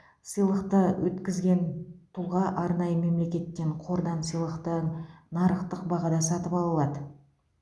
сыйлықты өткізген тұлға арнайы мемлекеттен қордан сыйлықты нарықтық бағада сатып ала алады